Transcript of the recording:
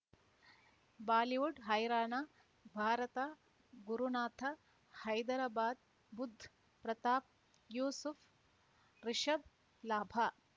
Bollywood ಹೈರಾಣ ಭಾರತ ಗುರುನಾಥ ಹೈದರಾಬಾದ್ ಬುಧ್ ಪ್ರತಾಪ್ ಯೂಸುಫ್ ರಿಷಬ್ ಲಾಭ